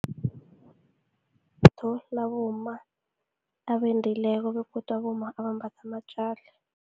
Abomma abendileko begodu, abomma abambatha amatjali.